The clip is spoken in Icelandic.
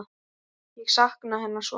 Ég sakna hennar svo mikið.